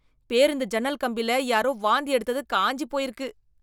பேருந்து ஜன்னல் கம்பில, யாரோ வாந்தி எடுத்தது, காய்ஞ்சி போயிருக்கு...